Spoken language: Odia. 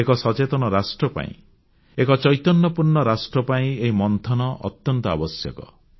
ଏକ ସଚେତନ ରାଷ୍ଟ୍ର ପାଇଁ ଏକ ଚୈତନ୍ୟପୂର୍ଣ୍ଣ ରାଷ୍ଟ୍ର ପାଇଁ ଏହି ମନ୍ଥନ ଅତ୍ୟନ୍ତ ଆବଶ୍ୟକ